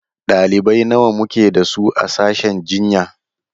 Ɗalibai nawa muke da su a sashen jinya?